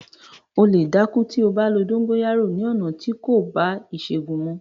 O lè dákú tí o bá lo “ dóńgóyárò” ni ọ̀nà tí kò bá ìṣègùn mu.